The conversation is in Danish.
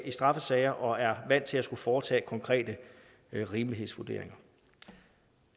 i straffesager og er vant til at skulle foretage konkrete rimelighedsvurderinger